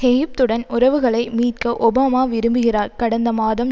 எகிப்துடன் உறவுகளை மீட்க ஒபாமா விரும்புகிறார் கடந்த மாதம்